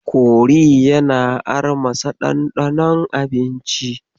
Kori yana armasa ɗanɗanon abinci.